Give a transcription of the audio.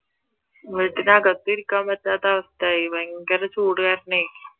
വീട്ടിന്റെകത്ത് ഇരിക്കാൻ പറ്റാത്ത അവസ്ഥ ആയി ഭയങ്കര ചൂട് കരണവേ